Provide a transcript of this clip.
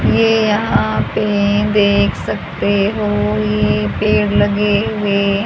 ये यहां पे देख सकते हो ये पेड़ लगे हुए--